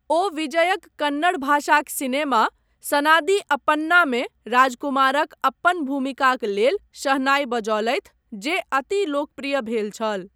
ओ विजयक कन्नड़ भाषाक सिनेमा सनादि अप्पन्ना मे राजकुमारक अप्पन भूमिकाक लेल शहनाई बजौलैथ जे अति लोकप्रिय भेल छल ।